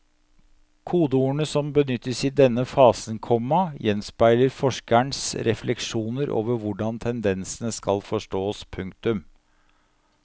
Kodeordene som benyttes i denne fasen, komma gjenspeiler forskerens refleksjoner over hvordan tendensene skal forstås. punktum